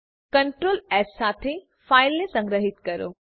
Ctrl S સાથે ફાઈલને સંગ્રહીત કરો